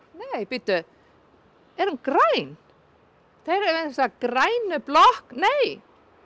nei bíddu er hún græn hér við þessa grænu blokk nei